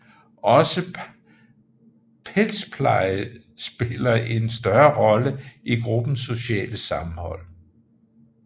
Også pelspleje spiller en større rolle i gruppens sociale sammenhold